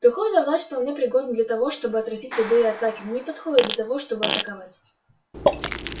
духовная власть вполне пригодна для того чтобы отразить любые атаки но не подходит для того чтобы атаковать